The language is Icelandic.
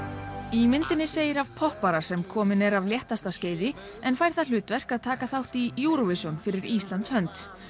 í myndinni segir af poppara sem kominn er af léttasta skeiði en fær það hlutverk að taka þátt í Eurovision fyrir Íslands hönd